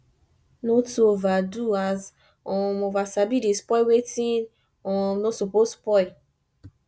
no too overdo as um over sabi dey spoil wetin um no soppose spoil